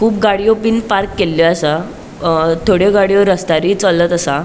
कुब गाड़ियों बिन पार्क केल्ल्यो आसा अ थोड़ियों गाड़ियों रस्त्यारुय चलत असा.